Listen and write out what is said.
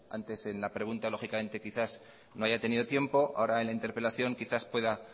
antes en la pregunta lógicamente quizás no haya tenido tiempo ahora en la interpelación quizás pueda